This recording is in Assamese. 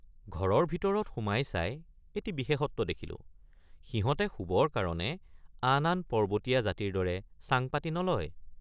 ঘৰৰ ভিতৰত সোমাই চাই এটি বিশেষত্ব দেখিলোঁ সিহঁতে শুবৰ কাৰণে আন আন পৰ্বতীয়৷ জাতিৰ দৰে চাং পাতি নলয় ।